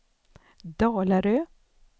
Dalarö